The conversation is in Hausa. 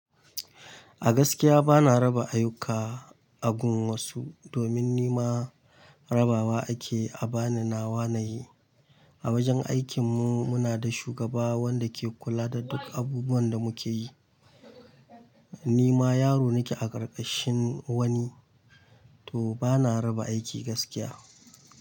A gaskiya bana raba ayuka a gun wasu domin ni ma rabawa ake a bana nawa na yi. A wajen aikinmu muna da shugaba wanda ke kula da duk abubuwan da muke yi. Ni ma yaro nake a ƙarƙashin wani, to bana raba aiki gaskiya.